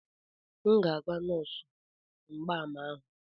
M ga-agwa nọọsụ mgbaàmà ahụ.